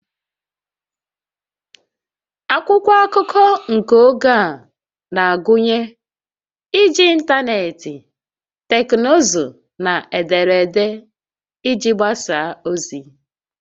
Akwụkwọ akụkọ nke oge a na-agụnye iji ịntanetị, teknụzụ na ederede iji gbasaa ozi